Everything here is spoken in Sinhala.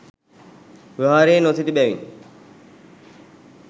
විහාරයේ නොසිටි බැවින්